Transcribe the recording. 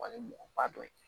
Wa ni mɔgɔba dɔ ye